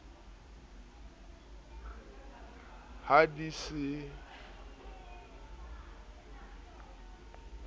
ha di se di oroha